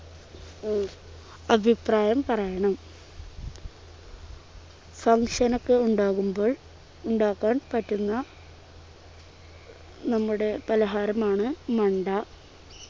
ഉം അഭിപ്രായം പറയണം function ഒക്കെ ഉണ്ടാകുമ്പോൾ ഉണ്ടാക്കാൻ പറ്റുന്ന നമ്മുടെ പലഹാരമാണ് മണ്ട